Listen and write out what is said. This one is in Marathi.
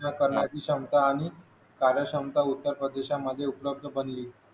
करण्याची क्षमता आणि कार्यक्षमता उत्तर प्रदेशामध्ये उपलब्ध बनली.